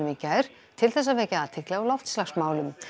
í gær til þess að vekja athygli á loftslagsmálum